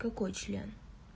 какой член